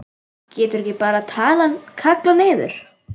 Geturðu ekki bara kallað niður?